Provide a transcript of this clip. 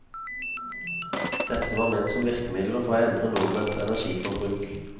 Dette var ment som virkemidler for å endre nordmenns energiforbruk.